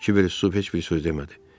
Kiber heç bir söz demədi.